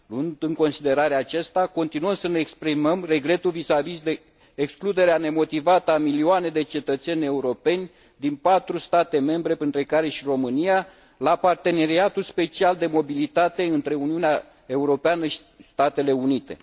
Luând în considerare aceasta, continuăm să ne exprimăm regretul vis vis de excluderea nemotivată a milioane de cetățeni europeni din 4 state membre, printre care și România, la parteneriatul special de mobilitate între Uniunea Europeană și Statele Unite.